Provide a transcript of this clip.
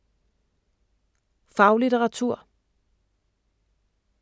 Faglitteratur